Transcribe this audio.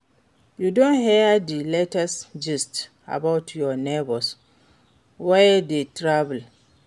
You don hear di latest gist about our neighbour wey travel?